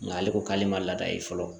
Nga ale ko k'ale ma laada ye fɔlɔ